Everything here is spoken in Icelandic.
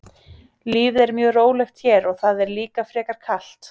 Lífið er mjög rólegt hér og það er líka frekar kalt.